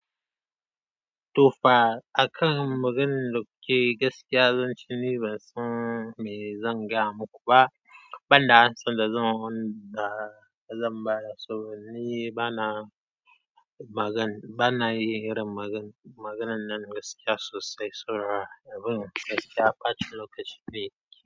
Tofa, a kan magan da kuke, gaskiya zan ce ni ban san me zan gaya muku ba, ban da ansan da zan yi wanda zan ba da saboda ni. Bana magan, bana yin irin magan-maganan nan gaskiya sosai. Saboda abin gaskiya, ɓata lokaci ne.